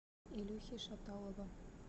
илюхи шаталова